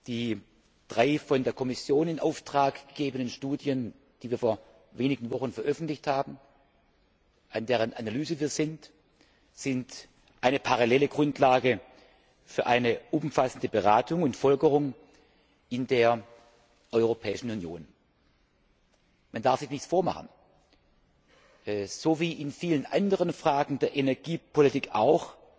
Die drei von der Kommission in Auftrag gegebenen Studien, die wir vor wenigen Wochen veröffentlicht haben und die wir nun analysieren, sind eine parallele Grundlage für eine umfassende Beratung und Folgerung in der Europäischen Union. Man darf sich nichts vormachen So wie in vielen anderen Fragen der Energiepolitik auch